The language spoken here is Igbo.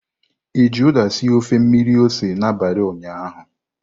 I ji uda sie ofe mmiri ose n'abalị ụnyaahụ?